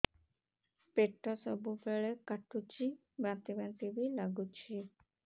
ପେଟ ସବୁବେଳେ କାଟୁଚି ବାନ୍ତି ବାନ୍ତି ବି ଲାଗୁଛି